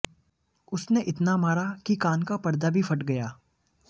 उसने इतना मारा कि कान का पर्दा भी फट गया